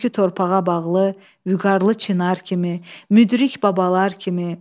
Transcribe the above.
Kökü torpağa bağlı, vüqarlı Çinar kimi, müdrik babalar kimi.